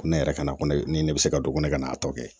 Ko ne yɛrɛ ka na ko ne ni ne bɛ se ka don ko ne ka n'a tɔ kɛ